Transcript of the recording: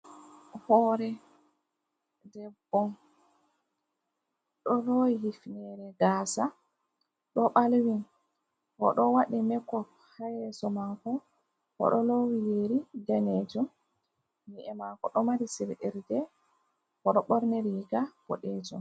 Hore ɗeɓɓo. Ɗo luwi hifnere gasa. Ɗo balvin. Oɗo waɗi mekop ha yeso mako. Oɗo lowi yeri ɗanejum, ni’e mako ɗo mari siriirɗe, oɗo ɓorni riga ɓoɗejum.